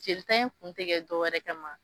Jeli ta in kun te kɛ dɔwɛrɛ kama